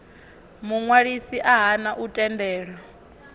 muṅwalisi a hana u tendela